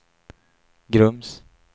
Grums